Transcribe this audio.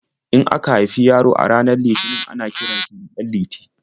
In aka haifi yaro a ranar Litinin ana kiran sa da 'Ɗanliti'.